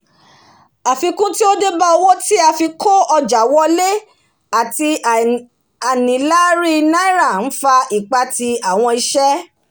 àfikún tí ó débá owó tí a fií kó ọ̀jà wolé àtì ànílárí náírà n fa ìpatì àwon isé